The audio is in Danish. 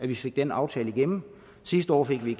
vi fik den aftale igennem sidste år fik vi